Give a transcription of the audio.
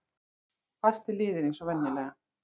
Fastir liðir eins og venjulega.